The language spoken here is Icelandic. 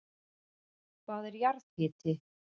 Hvað er jarðhiti?